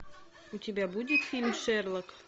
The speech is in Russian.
у тебя будет фильм шерлок